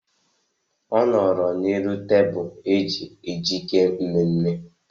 Ọ nọrọ n'elu tebụl eji ejike mmemme.